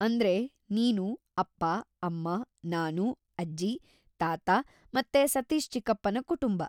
ಅಂದ್ರೆ ನೀನು, ಅಪ್ಪ, ಅಮ್ಮ, ನಾನು, ಅಜ್ಜಿ, ತಾತ ಮತ್ತೆ ಸತೀಶ್‌ ಚಿಕ್ಕಪ್ಪನ ಕುಟುಂಬ.